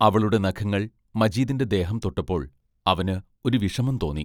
അവളുടെ നഖങ്ങൾ മജീദിന്റെ ദേഹം തൊട്ടപ്പോൾ അവന് ഒരു വിഷമം തോന്നി.